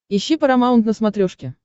ищи парамаунт на смотрешке